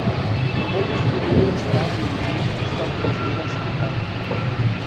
Prve štiri ure stražne dolžnosti sva preživela skupaj.